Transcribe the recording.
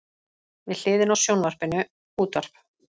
Við hliðina á sjónvarpinu útvarp.